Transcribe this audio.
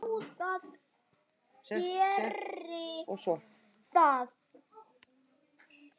Eiríks bónda þar háan sess.